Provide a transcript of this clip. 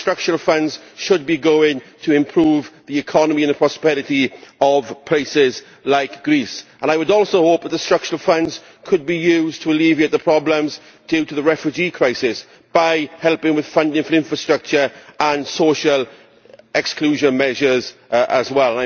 The structural funds should be going to improve the economy and the prosperity of places like Greece. I would also hope that the structural funds could be used to alleviate the problems due to the refugee crisis by helping with funding for infrastructure and social inclusion measures as well.